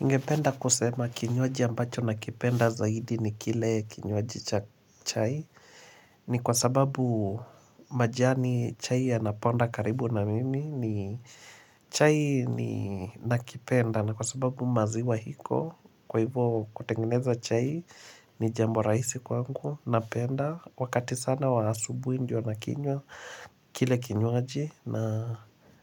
Ningependa kusema kinywaji ambacho nakipenda zaidi ni kile kinywaji cha chai ni kwa sababu majani chai ya naponda karibu na mimi ni chai ni nakipenda na kwa sababu maziwa iko kwa hivo kutengeneza chai ni jambo rahisi kwangu napenda. Wakati sana wa asubuhi ndio nakinywa kile kinywaji na